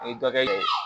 N ye dɔ kɛ